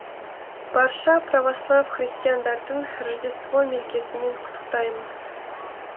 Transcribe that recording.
барша православ христиандарын рождество мерекесімен құттықтаймын